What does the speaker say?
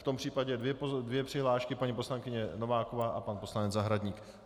V tom případě dvě přihlášky - paní poslankyně Nováková a pan poslanec Zahradník.